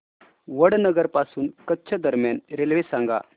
वडनगर पासून कच्छ दरम्यान रेल्वे सांगा